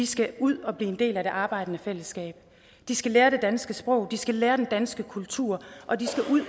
skal ud og blive en del af det arbejdende fællesskab de skal lære det danske sprog de skal lære om den danske kultur og de skal ud